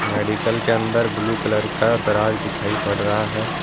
Medical के अंदर blue colour का दराज दिखाई पड़ रहा है।